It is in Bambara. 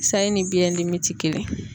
Sayi ni biyɛndimi ti kelen.